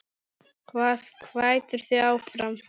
Hvað hvetur þig áfram?